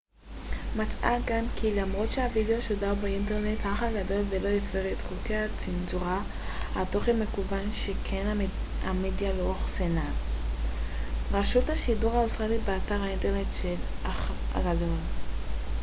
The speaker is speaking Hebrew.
רשות השידור האוסטרלית acma מצאה גם כי למרות שהווידיאו שודר באינטרנט האח הגדול לא הפר את חוקי הצנזורה על תוכן מקוון שכן המדיה לא אוחסנה באתר האינטרנט של האח הגדול